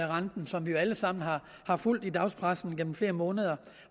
renten som vi jo alle sammen har fulgt i dagspressen igennem flere måneder